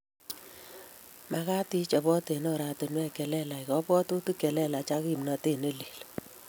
Magat ichopot ak orantiwek che lelach kabwatutik che lelach ak kimnatet ne lel